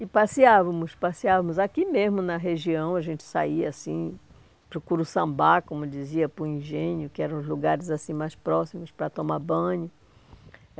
E passeávamos, passeávamos aqui mesmo na região, a gente saía assim para o Curuçambá, como dizia, para engenho que eram os lugares assim mais próximos para tomar banho.